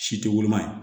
Si tɛ woloma yen